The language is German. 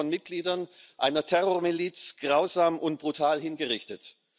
Sie wurden von Mitgliedern einer Terrormiliz grausam und brutal hingerichtet.